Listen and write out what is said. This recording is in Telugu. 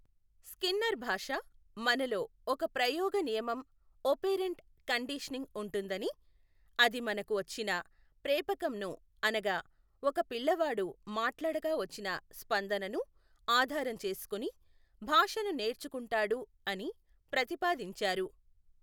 స్కిన్నర్ భాష మనలో ఒక ప్రయోగ నియమం ఒపేరంట్ కండిషనింగ్ ఉంటుందని, అది మనకు వచ్చిన ప్రేపకంను అనగా ఒక పిల్లవాడు మాట్లాడగా వచ్చిన స్పందనను ఆధారం చేసుకుని భాషను నేర్చుకుంటాడు అని ప్రతిపాదించారు.